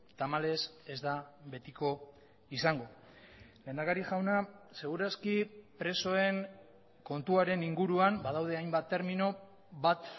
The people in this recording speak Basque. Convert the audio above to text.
tamalez ez da betiko izango lehendakari jauna segur aski presoen kontuaren inguruan badaude hainbat termino bat